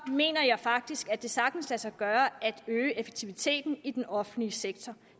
mener jeg faktisk at det sagtens kan lade sig gøre at øge effektiviteten i den offentlige sektor